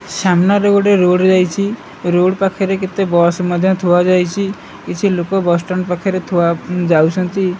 ସାମ୍ନା ରେ ଗୋଟେ ରୋଡ ଯାଇଛି ରୋଡ ପକ୍ଷେରେ କେତେ ବସ୍ ଥୁଆ ଯାଇଛି କିଛି ଲୋକ ବସ ଷ୍ଟାଣ୍ଡ ଥୁଆ ପାଖରେ ଯାଉଛନ୍ତି।